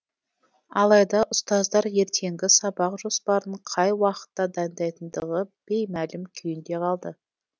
алайда ұстаздар ертеңгі сабақ жоспарын қай уақытта дайындайтындығы беймәлім күйінде қалды